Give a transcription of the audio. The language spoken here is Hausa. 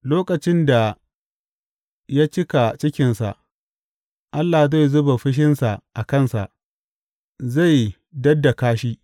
Lokacin da ya cika cikinsa, Allah zai zuba fushinsa a kansa, zai daddaka shi.